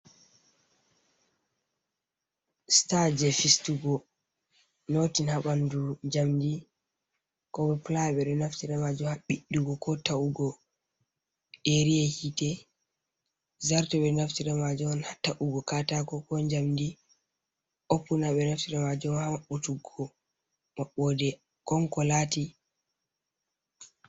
Sita je fistugo notin ha bandu jamdi, ko pulaya ɓe ɗo naftira be majum haɓiɗɗugo ko ta’ugo e riya hite. Zarto ɓe ɗo naftira be majum on ha ta’ugo katako ko jamdi. Opuna ɓe ɗo naftira be majum ha mabbutuggo maɓɓode kon kolati.